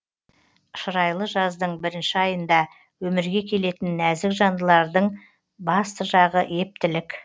шырайлы жаздың бірінші айында өмірге келетін нәзік жандылардын басты жағы ептілік